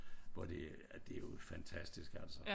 Hvor det ja det jo fantastisk altså